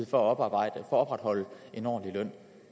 for at opretholde en ordentlig løn